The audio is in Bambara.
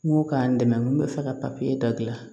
N ko k'an dɛmɛ n ko bɛ fɛ ka dabila